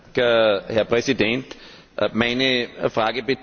Meine Frage bezieht sich auf die verbindlichen Ziele.